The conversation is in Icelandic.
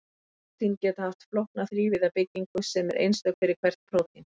Prótín geta haft flókna þrívíða byggingu sem er einstök fyrir hvert prótín.